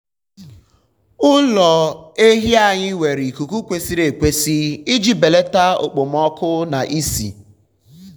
ụlọ ehi anyị nwere ikuku kwesịrị ekwesị iji belata okpomọkụ na ísì.